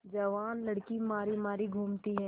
जवान लड़की मारी मारी घूमती है